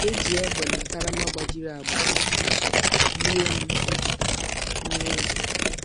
E ji égbè na karama gbajiri agbaji yie m egwu. m egwu.